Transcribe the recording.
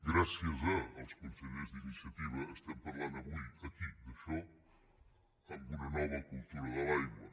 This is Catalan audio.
gràcies als consellers d’iniciativa estem parlant avui aquí d’això amb una nova cultura de l’aigua